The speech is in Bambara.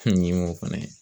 Fɛn fɛnɛ